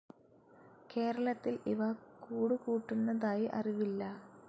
കേരളത്തിൽ ഇവ കൂടുകൂട്ടുന്നതായി അറിവില്ല.